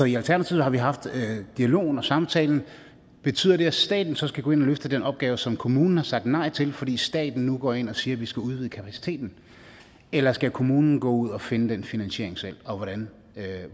i alternativet har vi haft dialogen og samtalen betyder det at staten så skal gå ind og løfte den opgave som kommunen har sagt nej til fordi staten nu går ind og siger at vi skal udvide kapaciteten eller skal kommunen gå ud og finde den finansiering selv og hvordan